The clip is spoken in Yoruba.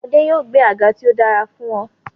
Adé yòó gbẹ́ àga tí ó dára fún ọ.